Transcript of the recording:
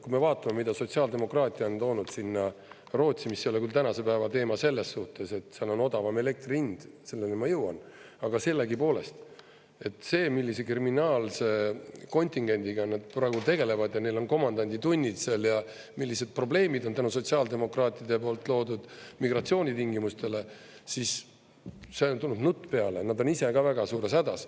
Kui me vaatame, mida sotsiaaldemokraatia on toonud sinna Rootsi, mis ei ole küll tänase päeva teema selles suhtes, et seal on odavam elektri hind – selleni ma jõuan –, aga sellegipoolest, see, millise kriminaalse kontingendiga nad praegu tegelevad ja komandanditunnid seal ja millised probleemid on tänu sotsiaaldemokraatide loodud migratsioonitingimustele, siis on tulnud nutt peale, nad on ise ka väga suures hädas.